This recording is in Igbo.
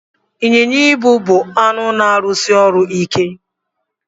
Ịnyịnya ibu bụ anụ na-arụsi ọrụ ike.